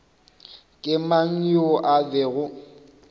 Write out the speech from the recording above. ke mang yoo a bego